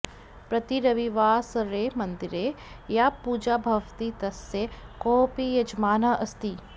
प्रतिरविवासरे मन्दिरे या पूजा भवति तस्य कोऽपि यजमानः अस्ति